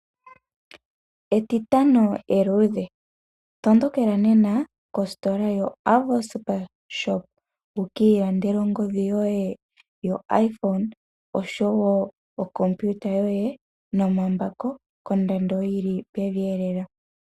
Etitano eluudhe, tondokela nena kositola yo Avo SuperShop wuka ilandele ongodhi yoye yo Iphone oshowo okopiuta yoye nomambako kondando yili pevi lela.